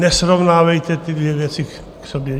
Nesrovnávejte ty dvě věci k sobě!